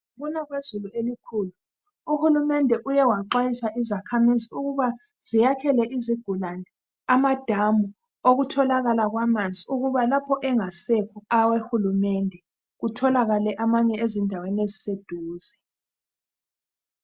Ngokuna kwezulu elikhulu uhulumende uye waxwayisa izakhamizi ukuba ziyakhele izigulane amadamu okutholakala kwamanzi ukuba lapho engasekho awehulumende kutholakale amanye ezindaweni eziseduze.